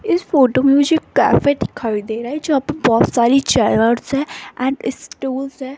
इस फोटो में मुझे कैफे दिखाई दे रही है जो बहोत सारी चेयर्स हैं एंड स्टूल्स है।